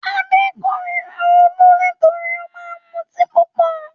Adé kórira Olú nítorí ó máa mutí púpọ̀.